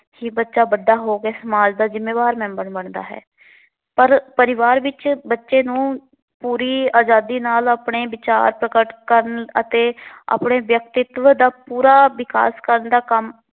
ਕਿ ਬੱਚਾ ਵੱਡਾ ਹੋ ਕੇ ਸਮਾਜ ਦਾ ਜਿੰਮੇਵਾਰ ਮੈਂਬਰ ਬਣਦਾ ਹੈ। ਪਰ ਪਰਿਵਾਰ ਵਿੱਚ ਬੱਚੇ ਨੂੰ ਪੂਰੀ ਅਜ਼ਾਦੀ ਨਾਲ ਆਪਣੇ ਵਿਚਾਰ ਪ੍ਰਗਟ ਕਰਨ ਅਤੇ ਆਪਣੇ ਵਿਅਕਤਿਤਵ ਦਾ ਪੂਰਾ ਵਿਕਾਸ ਕਰਨ ਦਾ ਕੰਮ